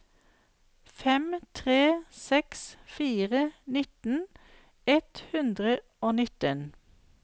fem tre seks fire nitten ett hundre og nitten